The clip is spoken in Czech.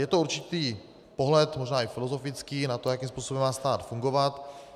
Je to určitý pohled, možná i filozofický, na to, jakým způsobem má stát fungovat.